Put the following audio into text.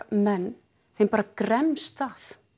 menn þeim bara gremst það